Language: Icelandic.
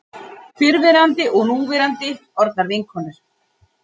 Fyrrverandi og núverandi orðnar vinkonur